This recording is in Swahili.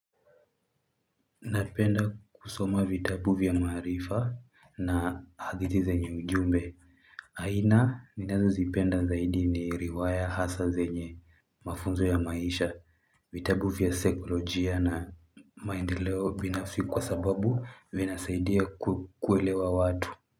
Napenda kusoma vitabu vya maharifa na hadithi zenye ujumbe. Aina ni nazo zipenda zaidi ni riwaya hasa zenye mafunzo ya maisha, vitabuvya sekolojia na maendeleo binafisi kwa sababu vinasaidia kukuelewa watu.